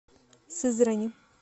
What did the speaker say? сызрани